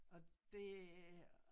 Og det